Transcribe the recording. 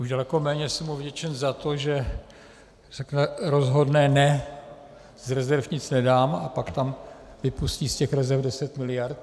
Už daleko méně jsem mu vděčen za to, že řekne rozhodné ne, z rezerv nic nedám, a pak tam vypustí z těch rezerv 10 miliard.